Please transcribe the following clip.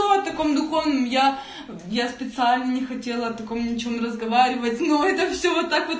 давай таком духовном я я специально не хотела о таком ничем разговаривать но это все вот так в